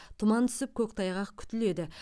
тұман түсіп көктайғақ күтіледі